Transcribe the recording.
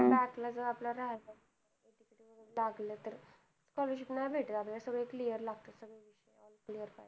back आपला राहील लागलं तर scholarship नाही भेटत आपल्याला सगळ clear लागतात